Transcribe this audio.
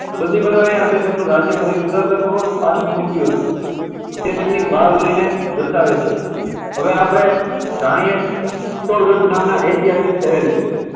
બંદી બનાવ્યા અને તેમનું રાજ્ય ફરી ઉદારતાપૂર્વક પાછું સોંપ્યું હતું. તે તેમની બહાદુરીને દર્શાવે છે. હવે આપણે જાણીએ ચિત્તોડગઢ નામના ઐતિહાસિક શહેર વિશે.